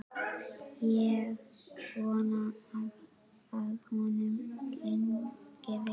Ég vona að honum gangi vel.